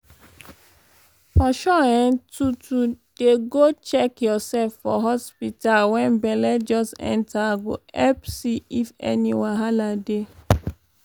for sure eh to to dey go check yoursef for hospta wen belle just enta go epp see if any wahal dey.